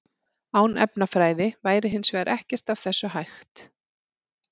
Án efnafræði væri hins vegar ekkert af þessu hægt.